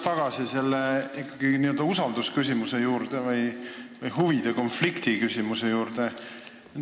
Ma tulen ikkagi tagasi usaldusküsimuse või huvide konflikti küsimuse juurde.